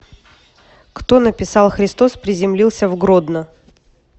кто написал христос приземлился в гродно